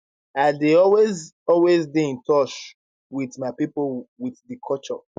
i dey always always dey in touch with my pipo with di culture